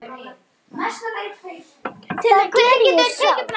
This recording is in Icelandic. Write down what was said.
Það geri ég sjálf.